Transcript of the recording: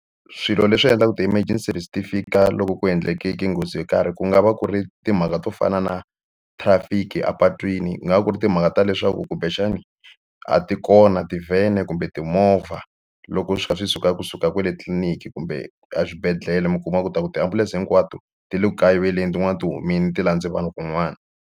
Swilo leswi endlaku ti-emergence-si fika loko ku endleke nghozi yo karhi ku nga va ku ri timhaka to fana na trafic-i epatwini ku nga va ku ri timhaka ta leswaku kumbexani a ti kona tivhene kumbe timovha loko swi kha swi suka kusuka kwale tliliniki kumbe exibedhlele mi kuma ku ta ku tiambulense hinkwato ti le ku kayiveleni tin'wani ti humile ti landze vanhu kun'wani.